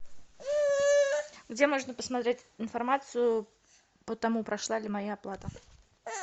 где можно посмотреть информацию по тому прошла ли моя оплата